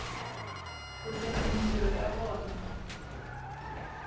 ku tirha mintirho ya vona